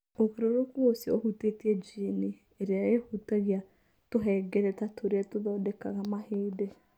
Ũgarũrũku ũcio ũhutĩtie jini ĩrĩa ĩhutagia tũhengereta tũrĩa tũthondekaga mahĩndĩ.